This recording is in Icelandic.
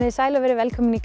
sæl og verið velkomin í